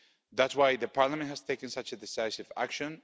That's why Parliament has taken such a decisive action.